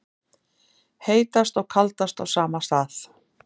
Heitast og kaldast á sama stað